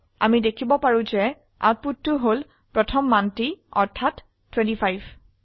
আমি দেখিব পাৰো যে আউটপুটতো হল প্ৰথম মানটি অৰ্থাৎ 25